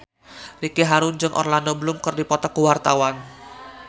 Ricky Harun jeung Orlando Bloom keur dipoto ku wartawan